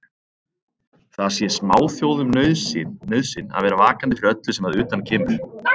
Það sé smáþjóðum nauðsyn að vera vakandi fyrir öllu sem að utan kemur.